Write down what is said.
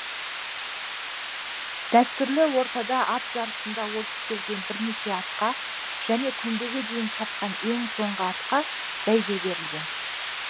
дәстүрлі ортада ат жарысында озып келген бірнеше атқа және көмбеге дейін шапқан ең соңғы атқа бәйге берілген